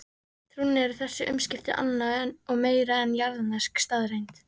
Trúnni eru þessi umskipti annað og meira en jarðnesk staðreynd.